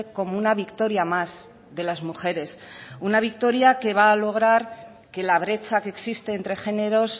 como una victoria más de las mujeres una victoria que va a lograr que la brecha que existe entre géneros